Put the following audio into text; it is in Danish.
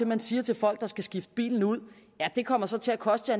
man siger til folk der skal skifte bilen ud det kommer så til at koste